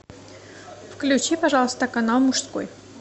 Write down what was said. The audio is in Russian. включи пожалуйста канал мужской